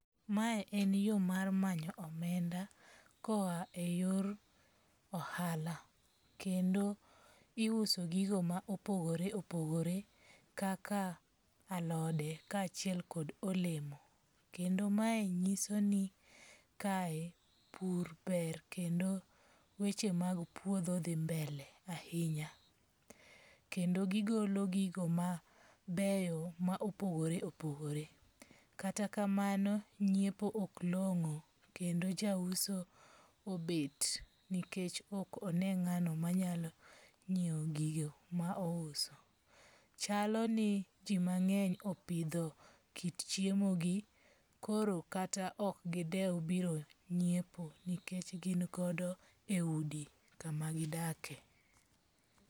Mae en yo mar manyo omenda koa e yor ohala. Kendo iuso gigo ma opogore opogore kaka alode ka achiel kod olemo. Kendo mae nyiso ni kae pur ber kendo weche mag puodho dhi mbele ahinya. Kendo gigolo gigo mabeyo ma opogore opogore, Kata kamano ng'iepo ok long'o kendo jauso obet nikech ok one ng'ano manyalo ngiewo gigo ma ouso. Chalo ni ji mang'eny opidho kit chiemo gi koro kata ok gidew biro ng'iepo nikech gin godo e udi kama gidakie.